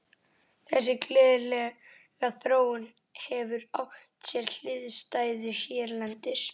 Þessi gleðilega þróun hefur átt sér hliðstæðu hérlendis.